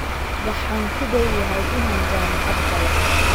Waxaan ku dhowyahay inaan jaamacad galo.